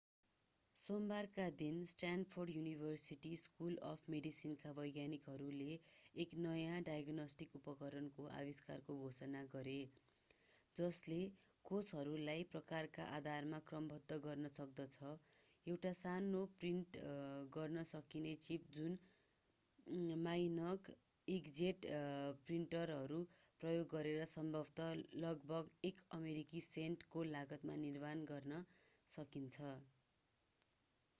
सोमबारका दिन Stanford university school of मेडिसिनका वैज्ञानिकहरूले एक नयाँ डायग्नोस्टिक उपकरणको आविष्कारको घोषणा गरे जसले कोषहरूलाई प्रकारका आधारमा क्रमबद्ध गर्न सक्दछः एउटा सानो प्रिन्ट गर्न सकिने चिप जुन मानक ईंकजेट प्रिन्टरहरू प्रयोग गरेर सम्भवतः लगभग एक अमेरिकी सेन्टको लागतमा निर्माण गर्न सकिन्छ